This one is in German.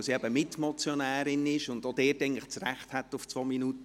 Als Mitmotionärin stand ihr etwas mehr Zeit zur Verfügung.